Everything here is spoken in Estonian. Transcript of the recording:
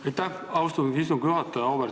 Aitäh, austatud istungi juhataja!